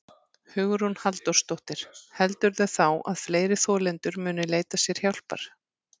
Hugrún Halldórsdóttir: Heldurðu þá að fleiri þolendur muni leita sér hjálpar?